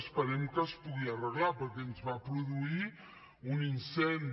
esperem que es pugui arreglar perquè ens va produir un incendi